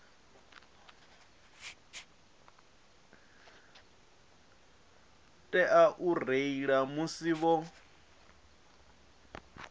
tea u reila musi vho